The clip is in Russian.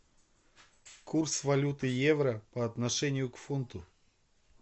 курс валюты евро по отношению к фунту